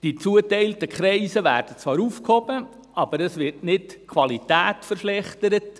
Die zugeteilten Kreise werden zwar aufgehoben, aber die Qualität wird nicht verschlechtert.